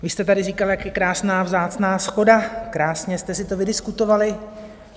Vy jste tady říkal, jak je krásná vzácná shoda, krásně jste si to vydiskutovali.